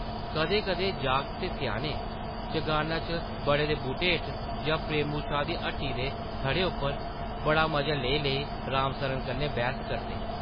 कदें-कदें जागत ते स्याने चगाना च बड़ा दे बूह्टे हेठ जां प्रेमू शाह् दी हट्टी दे थढ़े उप्पर बड़ा मजा लेई-लेई राम सरनै कन्नै बैह्स करदे ।